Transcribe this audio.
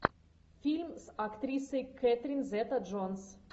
фильм с актрисой кэтрин зета джонс